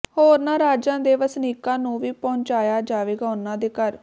ਹੋਰਨਾਂ ਰਾਜਾਂ ਦੇ ਵਸਨੀਕਾਂ ਨੂੰ ਵੀ ਪਹੁੰਚਾਇਆ ਜਾਵੇਗਾ ਉਨ੍ਹਾਂ ਦੇ ਘਰ